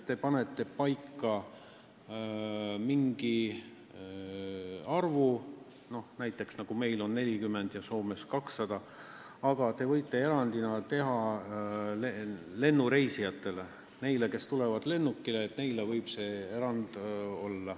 Võib kehtestada mingi arvu, näiteks nagu meil on 40 ja Soomes 200, ja võib seejuures teha erandi nendele reisijatele, kes lennukile tulevad.